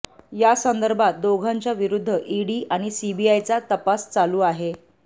यासंदर्भात दोघांच्या विरुद्ध ईडी आणि सीबीआयचा तपास चालू आहे